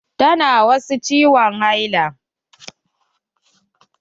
Ta na wasu ciwon haila.